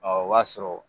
Ɔ o b'a sɔrɔ